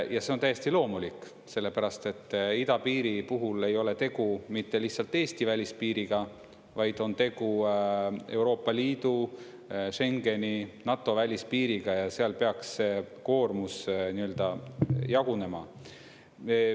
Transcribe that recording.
Ja see on täiesti loomulik, sellepärast et idapiiri puhul ei ole tegu mitte lihtsalt Eesti välispiiriga, vaid on tegu Euroopa Liidu, Schengeni, NATO välispiiriga, ja seal peaks see koormus nii-öelda jagunema.